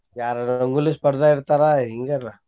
ಯಾರರ ರಂಗೋಲಿ ಸ್ಪರ್ಧಾ ಇಡ್ತಾರ ಹಿಂಗರ್ಲಾ.